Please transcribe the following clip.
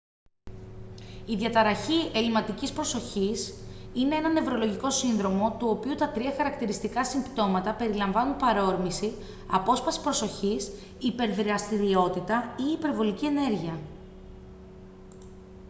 η διαταραχή ελλειματικής προσοχής «είναι ένα νευρολογικό σύνδρομο του οποίου τα τρία χαρακτηριστικά συμπτώματα περιλαμβάνουν παρόρμηση απόσπαση προσοχής υπερδραστηριότητα ή υπερβολική ενέργεια»